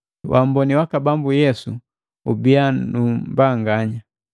Waamboni waka Bambu Yesu ubiya nu mbanganya.